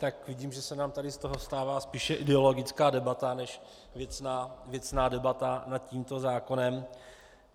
Tak vidím, že se nám tady z toho stává spíše ideologická debata než věcná debata nad tímto zákonem.